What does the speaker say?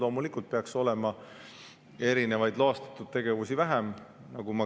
Loomulikult peaks olema erinevaid loastatud tegevusi vähem.